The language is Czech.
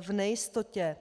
v nejistotě.